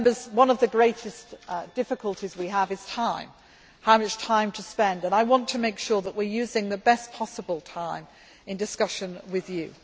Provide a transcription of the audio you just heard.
we have. One of the greatest difficulties we have is time how much time to spend and I want to make sure that we are using the best possible time in discussions with